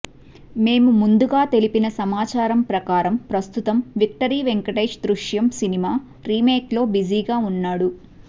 మేము ముందుగా తెలిపిన సమాచారం ప్రకారం ప్రస్తుతం victory Venkatesh Drishyam cinema remake లో బిజీగా వున్నాడు